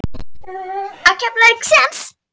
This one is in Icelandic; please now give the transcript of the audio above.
Á Keflavík séns?